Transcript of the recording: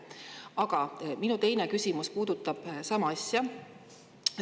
Aga minu teine küsimus puudutab sama asja.